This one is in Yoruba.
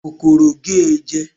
kòkòrò gé e jẹ